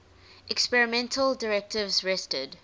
experimental directives rested